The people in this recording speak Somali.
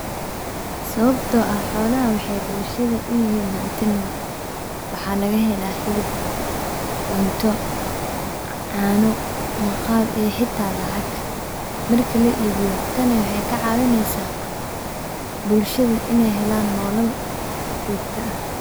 Sababto ah xolaha waxay bulshada uyihiin hanti nol, waxa laga helaa hilib, cunto ,caano maqaar iyo xita lacag markii la ibiyo, tan waxay kacaabineysa bulshada inay helan nolol jogta ah